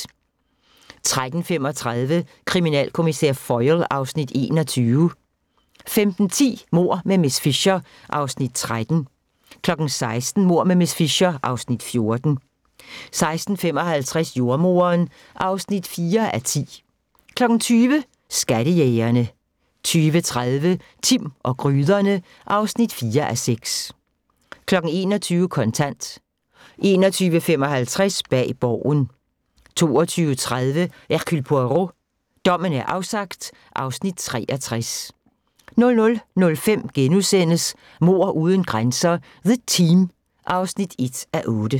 13:35: Kriminalkommissær Foyle (Afs. 21) 15:10: Mord med miss Fisher (Afs. 13) 16:00: Mord med miss Fisher (Afs. 14) 16:55: Jordemoderen (4:10) 20:00: Skattejægerne 20:30: Timm og gryderne (4:6) 21:00: Kontant 21:55: Bag Borgen 22:30: Hercule Poirot: Dommen er afsagt (Afs. 63) 00:05: Mord uden grænser - The Team (1:8)*